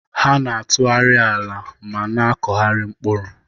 Ha na-atụgharị ala ma na-akụgharị mkpụrụ.